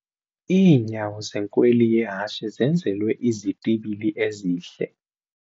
Iinyawo zenkweli yehashe zenzelwe izitibili ezihle.